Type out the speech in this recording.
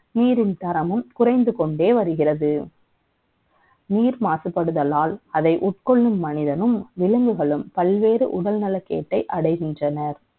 நீரின் தரமும் புரிந்து கொண்டே வருகிறது நீர் மாசுபடுதலால் அதை உட்கொள்ளும் மனிதனும் விலங்குகளும் பல்வேறு உடல் நலம் கேட்டை அடைகின்றன